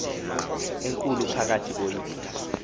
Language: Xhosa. enkulu phakathi koyise